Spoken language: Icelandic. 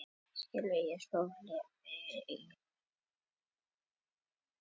Ekkert stórvægilegt, ekkert sem við getum ekki ráðið fram úr í sameiningu.